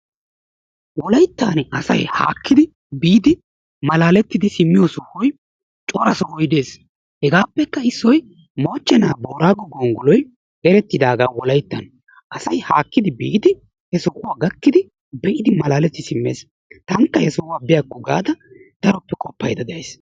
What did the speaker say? Wolayttan asay haakidi biid malaleetidi simmiyo daro sohoy de'ees. hegappekka issoy moochchena boorago gonggoloy ereettidaaga Wolayttan, asay haakkidi biidi he sohuwa gakkid be'idi malaletidi simmes, tankka he sohuwa biyyakko gaada daroppe qopaydda de'ays.